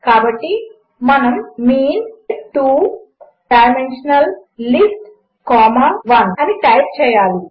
కాబట్టి మనము meantwo dimensional list one అని టైప్ చేయాలి